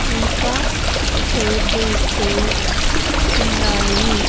ఇంకా టేబుల్స్ ఉన్నాయి.